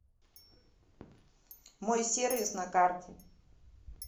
мой сервис на карте